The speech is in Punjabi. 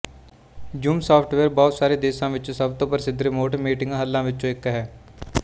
ਜ਼ੂਮ ਸਾੱਫਟਵੇਅਰ ਬਹੁਤ ਸਾਰੇ ਦੇਸ਼ਾਂ ਵਿੱਚ ਸਭ ਤੋਂ ਪ੍ਰਸਿੱਧ ਰਿਮੋਟ ਮੀਟਿੰਗ ਹੱਲਾਂ ਵਿੱਚੋਂ ਇੱਕ ਹੈ